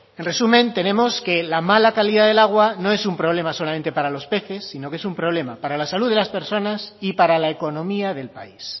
en resumen tenemos que la mala calidad del agua no es un problema solamente para los peces sino que es un problema para la salud de las personas y para la economía del país